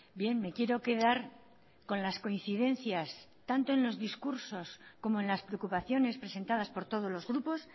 bien me quiero quedar con las coincidencias tanto en los discursos como en las preocupaciones presentadas por todos los grupos